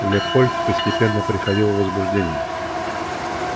лепольд постепенно приходил в возбуждение